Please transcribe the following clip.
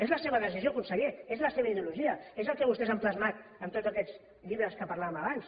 és la seva decisió conseller és la seva ideologia és el que vostès han plasmat en tots aquests llibres que parlàvem abans